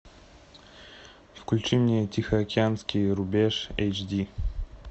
включи мне тихоокеанский рубеж эйч ди